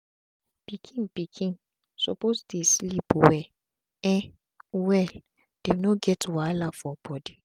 pikin pikin suppose dey sleep well um well make dem not get wahala for bodi